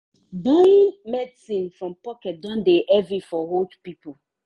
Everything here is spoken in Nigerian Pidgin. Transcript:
buying medicine from pocket don dey heavy for old people.